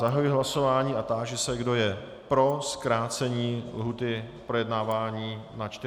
Zahajuji hlasování a táži se, kdo je pro zkrácení lhůty k projednávání na 40 dnů?